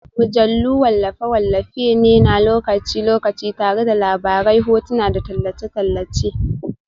Mujallu wallafe-wallafe ne na lokaci-lokaci tare da labarai, hotuna, da tallace-tallace